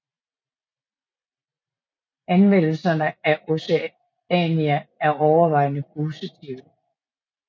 Anmeldelserne af Oceania er overvejende positive